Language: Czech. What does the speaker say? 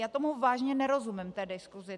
Já tomu vážně nerozumím, té diskusi.